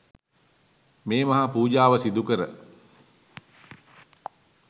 මේ මහා පූජාව සිදුකර